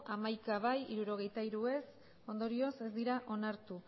bozka hamaika bai hirurogeita hiru ez ondorioz ez dira onartu